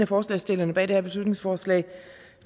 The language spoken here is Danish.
forslagsstillerne bag det her beslutningsforslag